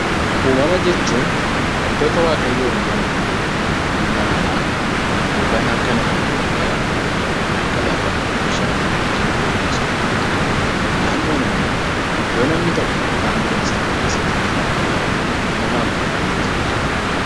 Uumama jechuun wantoota waaqayyoon uumaman, ilma namaa yookaan harka namaan hin qophaa'in kan akka lafaa, bishaan, biqiltuu fi bineensota fa'aa ti. Naannoon immoo iddoo namni tokko yookiin bineensi tokko keessa jiraatuu fi uumamaan marfamee jiruu dha.